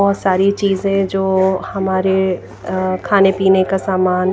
बहोत सारी चीजें जोअ हमारे अअ खाने पीने का सामान--